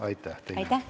Aitäh teile!